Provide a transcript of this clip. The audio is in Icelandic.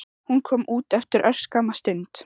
Hún kom út eftir örskamma stund.